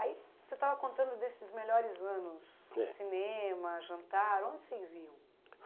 Aí você estava contando desses melhores anos, é, cinema, jantar, onde vocês iam?